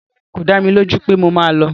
Rárá, kò dá mi lójú pé mo máa lọ